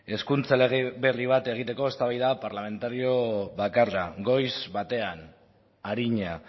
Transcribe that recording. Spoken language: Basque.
hezkuntza lege berri bat egiteko eztabaida parlamentario bakarra goiz batean arina